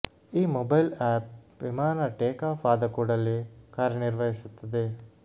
ಈ mobile app ವಿಮಾನ take off ಆದ ಕೂಡಲೇ ಕಾರ್ಯನಿರ್ವಹಿಸುತ್ತದೆ